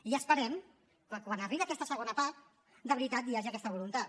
i esperem que quan arribi aquesta segona part de veritat hi hagi aquesta voluntat